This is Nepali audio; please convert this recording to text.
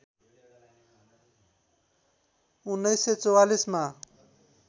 १९४४ मा